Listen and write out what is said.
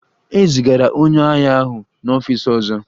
E zigara onye agha ahụ n'ọfịs ọzọ?